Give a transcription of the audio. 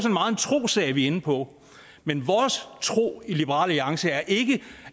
trossag vi er inde på men vores tro i liberal alliance er ikke